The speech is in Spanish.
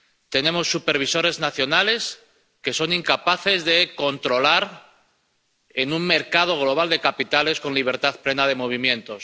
Tenemos supervisores nacionales que son incapaces de controlar, en un mercado global de capitales con libertad plena de movimientos.